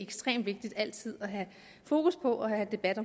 ekstremt vigtigt altid at have fokus på og have debat